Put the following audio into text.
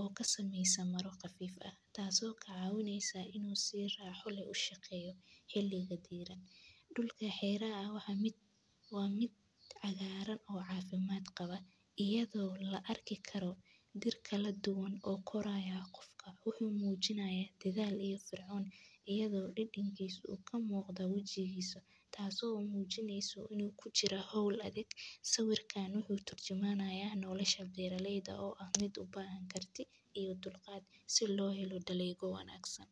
oo ka sameysan maryo khafiif ah oo ka caawinaysa inuu u shaqeeyo si raaxo leh. Dhulka waa mid cagaaran oo caafimaad leh, la arki karo diir kala duwan. Qofka wuxuu muujinayaa dadaal iyo firfircooni, taas oo ka muuqata wejigiisa, taasoo muujinaysa inuu ku jiro hawl adag. Sawirku wuxuu turjumayaa nolosha beeraleyda oo u baahan karti iyo dulqaad si loo helo dalagyo wanaagsan.